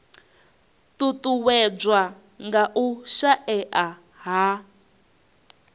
ṱuṱuwedzwa nga u shaea ha